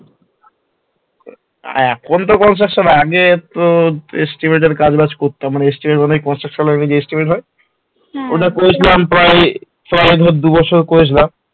হ্যাঁ এখন তো Construction এ আগে তোর estimate এর কাজ- বাজ করতাম, মানে estimate এই construction line এ যে estimate হয় ওটা করতাম প্রায় তাও ধর দু বছর করেছিলাম